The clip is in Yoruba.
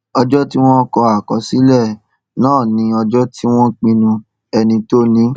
ọjọ tí wọn kọ àkọsílẹ náà ni ọjọ tí wọn pinnu ẹni tó ní